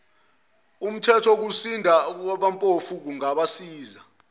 umthethowokusiza abampofu ungabasiza